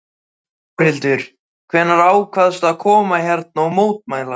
Þórhildur: Hvenær ákvaðstu að koma hérna og mótmæla?